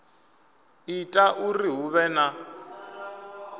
ita uri hu vhe na